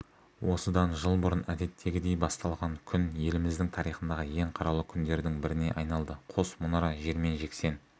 осыдан жыл бұрын әдеттегідей басталған күн еліміздің тарихындағы ең қаралы күндердің біріне айналды қос мұнара жермен-жексен